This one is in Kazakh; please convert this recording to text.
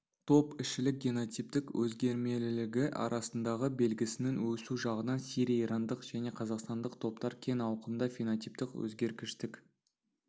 топ ішілік генотиптік өзгермелілігі арасындағы белгісінің өсу жағынан сирия-ирандық және қазақстандық топтар кең ауқымда фенотиптік өзгергіштік